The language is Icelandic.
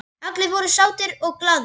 Allir voru sáttir og glaðir.